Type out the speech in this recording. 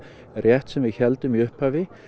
rétt sem við héldum í upphafi